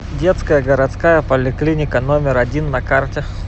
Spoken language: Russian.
детская городская поликлиника номер один на карте